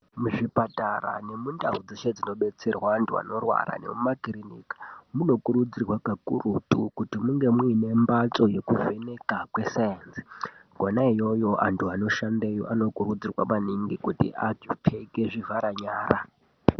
Muzvipatara nemundau dzeshe dzinobetsere antu eshe anorwara nemumakirinika munokurudzirwa kakurutu kuti munge muine mbatso yekuvheneka kwesainzi kwonaiyoyo antu anoshandeyo anokurudzirwa maningi kuti apfeke zvivhara nyara.